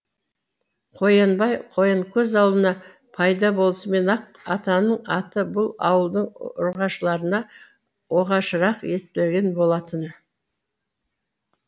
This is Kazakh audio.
қоянбай қоянкөз ауылына пайда болысымен ақ атаның аты бұл ауылдың ұрғашыларына оғашырақ естілген болатын